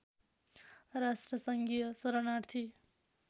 राष्ट्रसङ्घीय शरणार्थी